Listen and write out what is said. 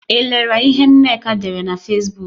I lere ihe Nneka dere na Fesbuk?